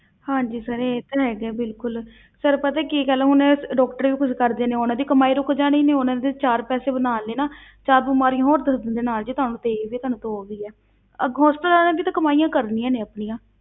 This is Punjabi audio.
ਹਾਂਜੀ sir ਇਹ ਤਾਂ ਹੈਗਾ ਬਿਲਕੁਲ sir ਪਤਾ ਹੈ ਕੀ ਗੱਲ ਹੈ ਹੁਣ doctor ਵੀ ਕੁਛ ਕਰਦੇ ਨੇ ਉਹਨਾਂ ਦੀ ਕਮਾਈ ਰੁੱਕ ਜਾਣੀ ਨੇ, ਉਹਨਾਂ ਦੇ ਚਾਰ ਪੈਸੇ ਬਣਾਉਣ ਲਈ ਨਾ ਚਾਰ ਬਿਮਾਰੀਆਂ ਹੋਰ ਦੱਸ ਦਿੰਦੇ ਨਾਲ, ਜੀ ਤੁਹਾਨੂੰ ਤੇ ਇਹ ਵੀ ਤੁਹਾਨੂੰ ਤੇ ਉਹ ਵੀ ਹੈ, ਅੱਗੇ hospital ਵਾਲਿਆਂ ਨੇ ਵੀ ਤਾਂ ਕਮਾਈਆਂ ਕਰਨੀਆਂ ਨੇ ਆਪਣੀਆਂ।